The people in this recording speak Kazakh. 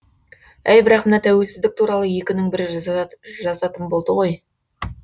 әй бірақ мына тәуелсіздік туралы екінің бірі жазатын болды ғой